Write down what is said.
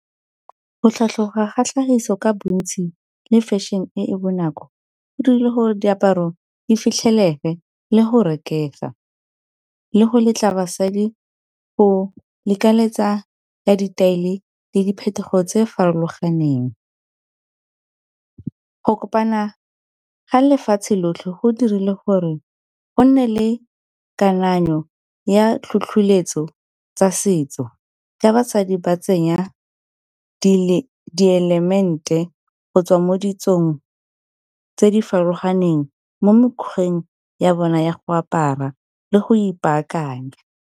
Go tlhatlhoga ga tlhagiso ka bontsi le fashion-e e e bonako e dirile gore diaparo di fitlhelege le go rekega, le go letla basadi go lekeletsa ya ditaele le di phetogo tse di farologaneng. Go kopana ga lefatshe lotlhe go dirile gore go nne le kananyo ya tlhotlholetso tsa setso ka basadi ba tsenya ke di-element-e go tswa mo ditsong tse di farologaneng mo mekgweng ya bona ya go apara le go ipaakanya.